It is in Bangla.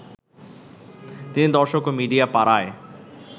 তিনি দর্শক ও মিডিয়া পাড়ায়